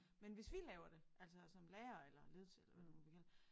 Men hvis vi laver det altså som lærere eller ledelse eller hvad du nu vil kalde